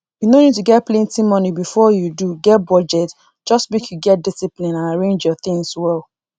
u no need to get plenty money before you do get budget just make you get discipline and arrange your things well